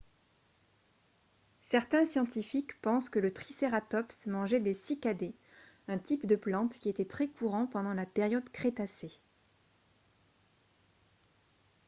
certains scientifiques pensent que le tricératops mangeait des cycadées un type de plante qui était très courant pendant la période crétacée